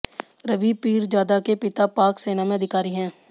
रबी पीरजादा के पिता पाक सेना में अधिकारी हैं